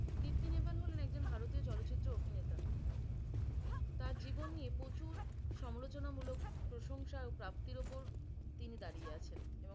দীপ্তি নেবাল হলেন একজন ভারতীয় চালচিত্র অভিনেতা। তার জীবন নিয়ে প্রচুর সমালোচনা মুলক প্রশংসা ও প্রাপ্তির উপর তিনি দাড়িয়ে আছেন এবং